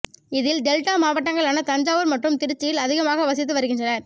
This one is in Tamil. இதில் டெல்டா மாவட்டங்களான தஞ்சாவூர் மற்றும் திருச்சியில் அதிகமாக வசித்து வருகின்றனர்